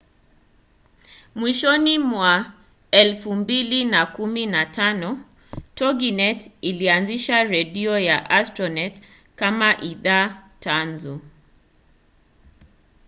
mwishoni mwa 2015 toginet ilianzisha redio ya astronet kama idhaa tanzu